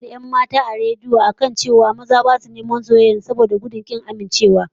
Za'a yi hira a rediyo da wasu 'yan mata da suka koka cewa maza ba su taya neman soyayyar su, saboda shakkar kin amincewa